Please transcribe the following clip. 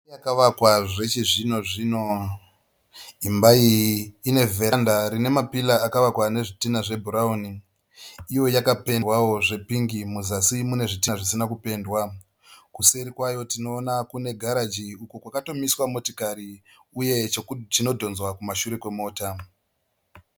Imba yakavakwa zvechizvinozvino. Imba iyi ine vheranda rine mapira akavakwa nezvitina zvebhurauni. Uye yakapendwawo nepingi muzasi munezvitina zvisina kupendwa. Kuseri kwayo tinoona kune garaji uko kwakatomiswa motikari uye chinodhonzwa kumashure kwemota.